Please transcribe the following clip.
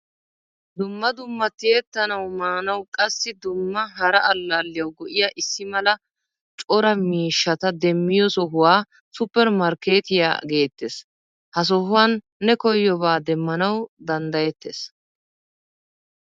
Dumma dumma tiyettanawu maanawu, qassi dumma hara allaliyawu go'iyaa issimala cora miishshata demiyo sohuwaa supper markkettiyaa geetees. Ha sohuwan ne koyobba demmanawu dandayetees.